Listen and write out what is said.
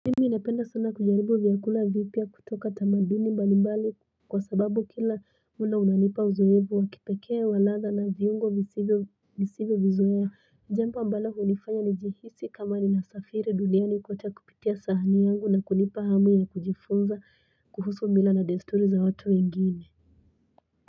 Inapenda sana kujaribu vyakula vipya kutoka tamaduni mbali mbali kwasababu kila mulo unanipa uzovu wakipekee waladha na viungo nisivyo nisivyo vizoeya jambo ambalo hunifanya nijihisi kama nina safiri duniani kote kupitia sahani yangu na kunipa hamu ya kujifunza kuhusu mila na desturi za watu wengine.